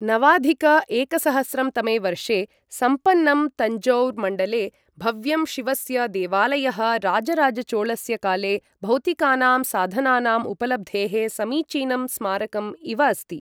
नवाधिक एकसहस्रं तमे वर्षे सम्पन्नं तञ्जौर् मण्डले भव्यं शिवस्य देवालयः राजराजचोलस्य काले भौतिकानां साधनानां उपलब्धेः समीचीनं स्मारकम् इव अस्ति।